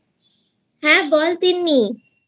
হ্যাঁ বল তিন্নি